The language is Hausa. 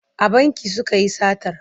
A banki suka yi satar.